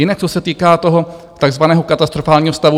Jinak, co se týká toho tzv. katastrofálního stavu.